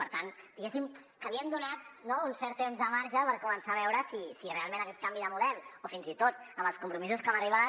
per tant diguéssim que li hem donat un cert temps de marge per començar a veure si realment aquest canvi de model o fins i tot els compromisos a què hem arribat